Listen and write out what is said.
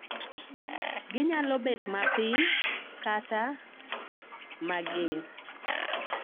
Ginyalo bet mapiny kata mager